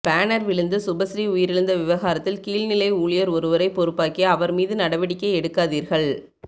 banner விழுந்து சுபஸ்ரீ உயிரிழந்த விவகாரத்தில் கீழ்நிலை ஊழியர் ஒருவரை பொறுப்பாக்கி அவர் மீது நடவடிக்கை எடுக்காதீர்கள்